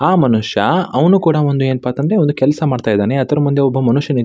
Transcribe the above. ಆ ಮನುಷ್ಯ ಏನಪ್ಪಾ ಅಂತ ಅಂದ್ರೆ ಒಂದು ಕೆಲ್ಸ ಮಾಡ್ತಾ ಇದ್ದಾನೆ ಅದ್ರ ಮಂದೆ ಒಬ್ಬ ಮನುಷ್ಯ --